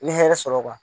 N ye hɛrɛ sɔrɔ